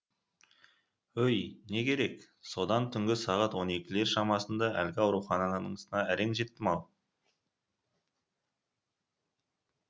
өй не керек содан түнгі сағат он екілер шамасында әлгі ауруханасына әрең жеттім ау